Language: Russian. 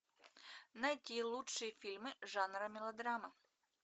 найти лучшие фильмы жанра мелодрама